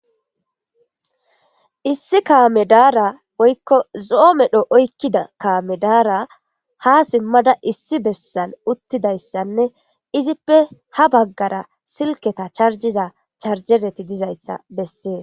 Issi kaame daara woylo zo'o medho oykida kaame daara ha simada issi bessan uttidaysanne izippe ha bagara silketa charjiza charjereti dizaysa besses.